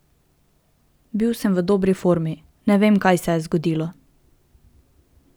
Bil sem v dobri formi, ne vem, kaj se je zgodilo.